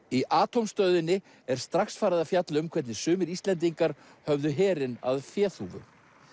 í Atómstöðinni er strax farið að fjalla um hvernig sumir Íslendingar höfðu herinn að féþúfu